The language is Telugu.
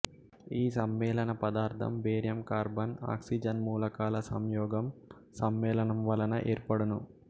ఈ సమ్మెళనపదార్థం బేరియంకార్బన్ ఆక్సిజన్మూలకాల సంయోగం సమ్మేళనం వలన ఏర్పడును